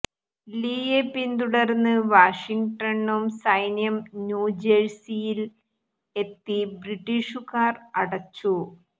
ലീയെ പിന്തുടർന്ന് വാഷിങ്ടണും സൈന്യം ന്യൂജേഴ്സിയിൽ എത്തി ബ്രിട്ടീഷുകാർ അടച്ചു